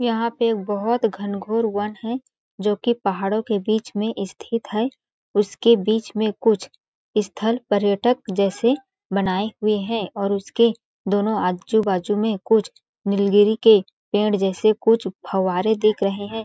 यहाँ पे बहुत घनघोर वन है जो कि पहाड़ों के बीच में स्थित है उसके बीच में कुछ स्थल पर्यटक जैसे बनाए हुए हैं और उसके दोनों आजू-बाजू में कुछ नीलगिरी के पेड़ जैसे कुछ फवारे दिख रहे हैं।